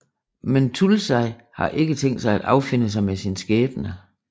Men Thulasi har ikke tænkt sig at affinde sig med sin skæbne